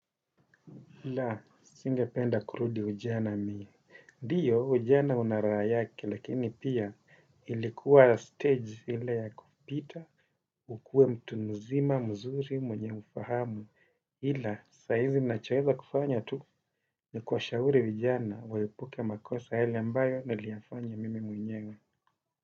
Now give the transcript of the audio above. Ila, singependa kurudi ujana mie. Ndiyo, ujana unaraha yake, lakini pia ilikuwa stage ile ya kupita, ukuwe mtu nzima, mzuri, mwenye fahamu. Ila, saa hizi ninachoweza kufanya tu, nikuwashahuri vijana, waepuke makosa yale ambayo, niliyafanya mimi mwenyewe.